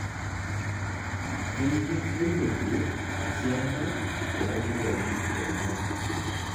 keyieu neilepie esiana ogooli enyenak